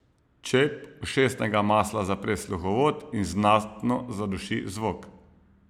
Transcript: Čep ušesnega masla zapre sluhovod in znatno zaduši zvok.